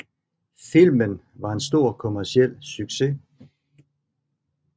Filmen var en stor kommerciel succes